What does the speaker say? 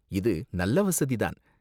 இது நல்ல வசதி தான்.